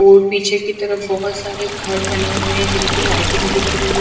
और पीछे की तरफ बहोत सारे घर बने हुए है जिनकी लाइटिंग दिख रही--